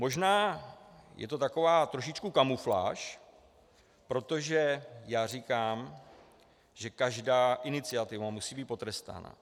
Možná je to taková trošičku kamufláž, protože já říkám, že každá iniciativa musí být potrestána.